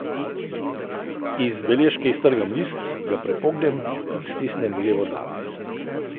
Iz beležke iztrgam list, ga prepognem in stisnem v levo dlan.